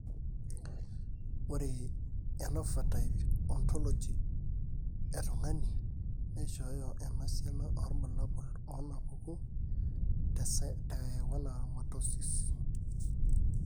ore ephenotype ontology etung'ani neishooyo enasiana oorbulabul onaapuku teSchwannomatosis.